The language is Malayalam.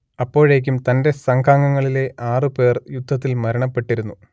അപ്പോഴേക്കും തന്റെ സംഘാംങ്ങളിലെ ആറു പേർ യുദ്ധത്തിൽ മരണപ്പെട്ടിരുന്നു